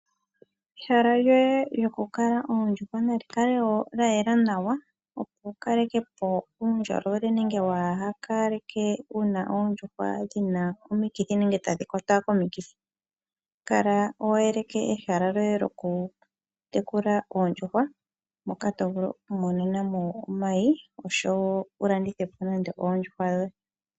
Ehala lyoye lyokukala oondjuhwa nali kale woo lyayela nawa Opo wu kalekepo uundjolowele nenge kuu kale wuna oondjuhwa dhina omikithi nenge tadhi kwatwa komikithi. kala wa yeleka ehala lyoye yokutekula oondjuhwa moka tovulu oku imonenamo omayi oshowo wu landithepo nande oondjuhwa dhoye.